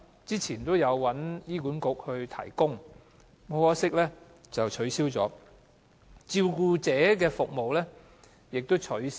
以前，這項服務會由醫院管理局提供，可惜現已取消；照顧者服務亦已取消。